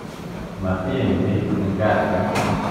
Matiim biik eng ka'sit